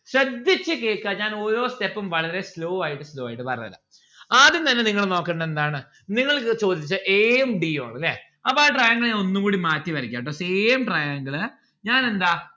ശ്രദ്ധിച്ച് കേൾക്കാ ഞാൻ ഓരോ step ഉം വളരെ slow ആയിട്ട് slow ആയിട്ട് പറഞ്ഞേരാം ആദ്യം തന്നെ നിങ്ങള് നോക്കണ്ടത് എന്താണ് നിങ്ങൾക്ക് ചോദിച്ചത് a ഉം d ഉം ആണ് ല്ലേ അപ്പൊ ഞാൻ ആ triangle ഞാൻ ഒന്നൂടി മാറ്റി വരക്ക ട്ടോ same triangle ളെ ഞാൻ എന്താ